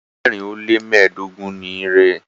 ẹgbẹrin o le mẹdogun ní rẹ.